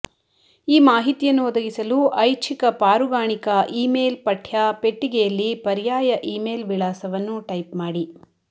ಈ ಮಾಹಿತಿಯನ್ನು ಒದಗಿಸಲು ಐಚ್ಛಿಕ ಪಾರುಗಾಣಿಕಾ ಇಮೇಲ್ ಪಠ್ಯ ಪೆಟ್ಟಿಗೆಯಲ್ಲಿ ಪರ್ಯಾಯ ಇಮೇಲ್ ವಿಳಾಸವನ್ನು ಟೈಪ್ ಮಾಡಿ